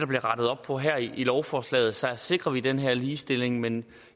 bliver rettet op på her i lovforslaget så sikrer vi den her ligestilling men